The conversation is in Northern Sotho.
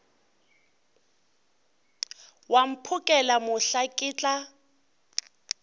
wa mphokela mohla ke tla